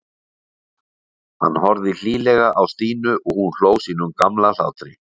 Hann horfði hlýlega á Stínu og hún hló sínum gamla hlátri.